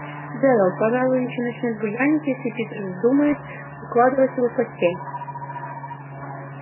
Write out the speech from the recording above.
джералд пожалуй ещё начнёт буянить если питер вздумает укладывать его в постель